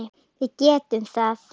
Við getum það.